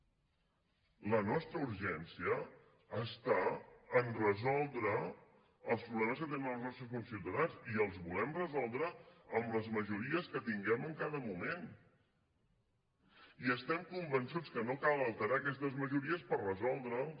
la nostra urgència està a resoldre els problemes que tenen els nostres conciutadans i els volem resoldre amb les majories que tinguem en cada moment i estem convençuts que no cal alterar aquestes majories per resoldre’ls